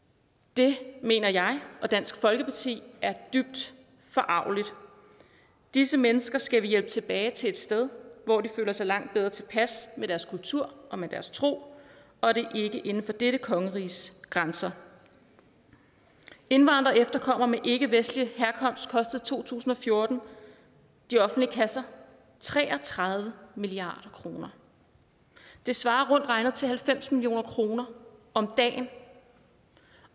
det mener jeg og dansk folkeparti er dybt forargeligt disse mennesker skal vi hjælpe tilbage til et sted hvor de føler sig langt bedre tilpas med deres kultur og med deres tro og det er ikke inden for dette kongeriges grænser indvandrere og efterkommere med ikkevestlig herkomst kostede i to tusind og fjorten de offentlige kasser tre og tredive milliard kroner det svarer rundt regnet til halvfems million kroner om dagen